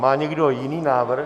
Má někdo jiný návrh?